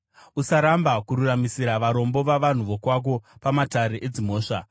“Usaramba kururamisira varombo vavanhu vokwako pamatare edzimhosva.